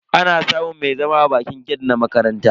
Ana samun mai zama a bakin gate na makaranta.